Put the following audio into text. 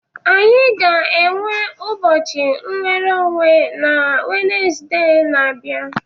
Anyị ga-enwe ụbọchị nwere onwe na Wenezde na-abịa.